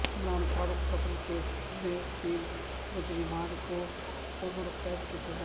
عمران فاروق قتل کیس میں تین مجرمان کو عمر قید کی سزا